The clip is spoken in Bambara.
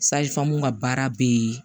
ka baara be yen